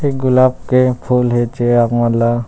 एक गुलाब के फूल हे जे आप मन ल--